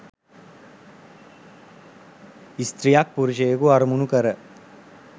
ස්ත්‍රියක් පුරුෂයකු අරමුණු කර